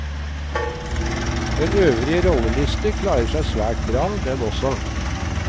Den øvrige rolleliste klarer seg svært bra, den også.